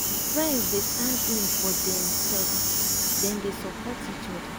friends dey stand in for dem self dem dey support each oda